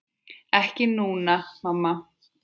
Ekki núna, mamma.